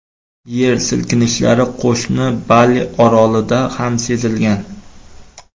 Yer silkinishlari qo‘shni Bali orolida ham sezilgan.